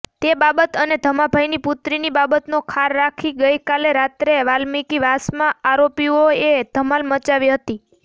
તે બાબત અને ધમાભાઈની પુત્રીની બાબતનો ખાર રાખી ગઈકાલે રાત્રે વાલ્મિકીવાસમાં આરોપીઓએ ધમાલ મચાવી હતી